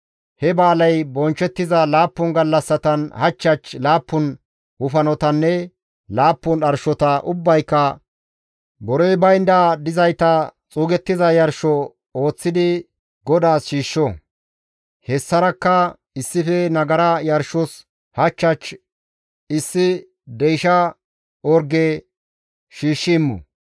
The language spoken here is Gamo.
He ba7aaley bonchchettiza laappun gallassatan hach hach laappun wofanotanne laappun dharshota ubbayka borey baynda bollara dizayta xuugettiza yarsho ooththidi, GODAAS shiishsho. Hessarakka issife nagara yarshos hach hach issi deysha orge shiishshi immo.